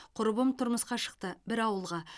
құрбым тұрмысқа шықты бір ауылға